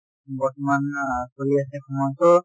বৰ্তমান আ চলি আছে